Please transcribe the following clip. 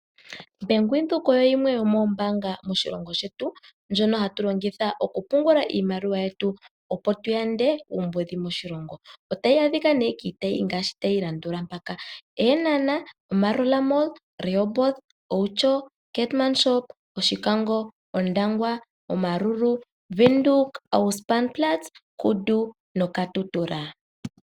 Bank Windhoek oyo yimwe yomoombaanga moshilongo shetu ndjono hatu longitha okupungula iimaliwa yetu, opo ku yandwe uumbudhi moshilongo. Otayi adhika miitayi ngaashi tayi landula mpaka: Eenhana, Maerua Mall, Rehoboth, Outjo, Keetmanshoop, Oshikango, Ondangwa, Omaruru, Windhoek Ausspannplatz, Kudu noKatutura.